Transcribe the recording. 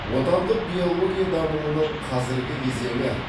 отандық биология дамуының қазіргі кезеңі